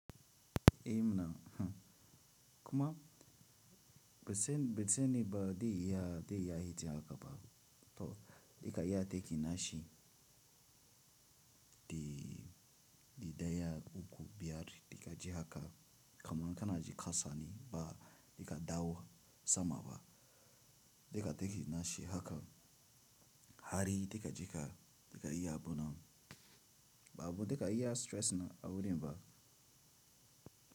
Eh mna, kuma be tsen tsene ba dai iya, dai iya hita haka ba to daika iya ta ki nashi, de de daya uku biyar deka je haka kaman kana ji kasa ne ba deka dawo sama ba deka tekin nashi haka hari deka je ka dika yi abuna ba abu deka iya stress na a wurin ba.